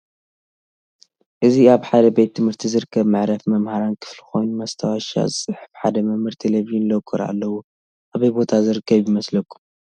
እዚ አብ ሐደ ቤት ትምህርቲ ዝርከብ መዕረፊ መምህራን ክፍሊ ኮይኑ መታወሻ ዝፅሕፍ ሐደ መምህር፣ ተልቨዠን፣ ሎኮር አለዎ። አበይ ቦታ ዝርከብ ይመስለኩም?